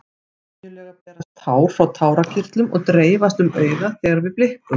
Venjulega berast tár frá tárakirtlum og dreifast um augað þegar við blikkum.